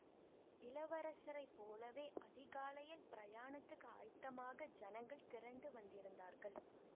இளவரசரை போலவே அதிகாலையில் பிரயாணத்துக்கு ஆயத்தமாக ஜனங்கள் திரண்டு வந்திருந்தார்கள்